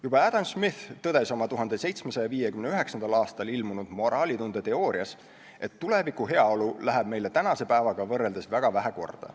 Juba Adam Smith tõdes oma 1759. aastal ilmunud moraalitunde teoorias , et tuleviku heaolu läheb meile tänase päevaga võrreldes väga vähe korda.